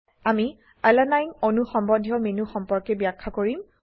আমি আলানিনে অণু সম্বন্ধীয় মেনু সম্পৰ্কে ব্যাখ্যা কৰিম